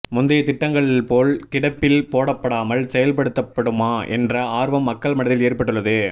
முந்தைய திட்டங்கள் போல் கிடப்பில் போடப்படாமல் செயல்படுத்தப்படுமா என்ற ஆர்வம் மக்கள் மனதில் ஏற்பட்டுள்ளது